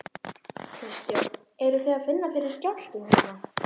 Kristján: Eruð þið að finna fyrir skjálftum hérna?